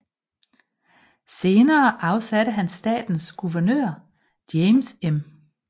Senere afsatte han statens guvernør James M